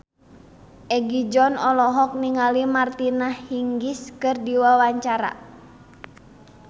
Egi John olohok ningali Martina Hingis keur diwawancara